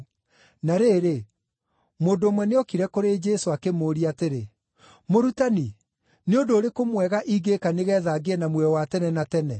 Na rĩrĩ, mũndũ ũmwe nĩokire kũrĩ Jesũ, akĩmũũria atĩrĩ, “Mũrutani, nĩ ũndũ ũrĩkũ mwega ingĩĩka nĩgeetha ngĩe na muoyo wa tene na tene?”